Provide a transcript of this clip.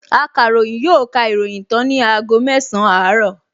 Akàròyìn yóò ka ìròyìn tán ní aago mẹsàn-án àárọ̀